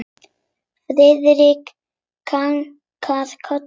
Friðrik kinkaði kolli.